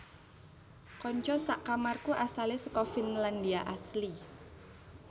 Konco sak kamarku asale seko Finlandia asli